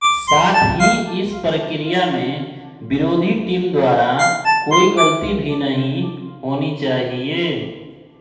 साथ ही इस प्रक्रिया में विरोधी टीम द्वारा कोई गलती भी नहीं होनी चाहिये